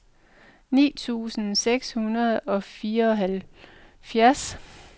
ni tusind seks hundrede og fireoghalvfjerds